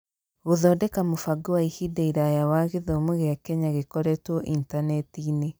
Gũthondeka mũbango wa ihinda iraya wa gĩthomo gĩa Kenya gĩkorĩtwo intaneti-inĩ